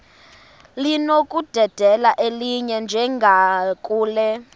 linokudedela elinye njengakule